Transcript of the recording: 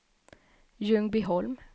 Ljungbyholm